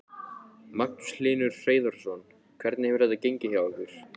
Magnús Hlynur Hreiðarsson: Hvernig hefur þetta gengið hjá ykkur?